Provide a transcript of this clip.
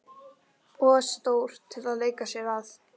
Of stór til að leika sér að.